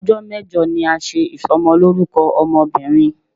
Ọjọ́ mẹ́jọ ni a ń ṣe Ìsọmọlórúkọ ọmọ bìnrin.